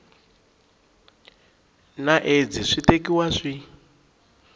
na aids swi tekiwa swi